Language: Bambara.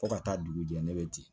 Fo ka taa dugu jɛ ne bɛ ten